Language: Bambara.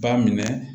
Ba minɛ